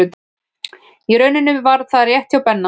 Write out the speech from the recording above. Í rauninni var það rétt hjá Benna.